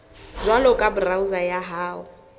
jwalo ka browser ya hao